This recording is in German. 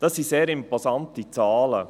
Das sind sehr imposante Zahlen.